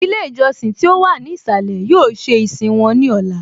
Ilé ìjọsìn tí ó wà ní ìsàlẹ̀ yóò ṣe ìsìn wọn ní Ọla